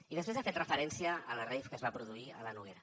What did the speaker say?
i després ha fet referència a la rave que es va produir a la noguera